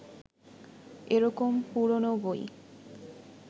এরকম পুরনো বই